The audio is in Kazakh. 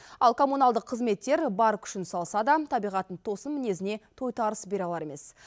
ал коммуналдық қызметтер бар күшін салса да табиғаттың тосын мінезіне тойтарыс бере алар емес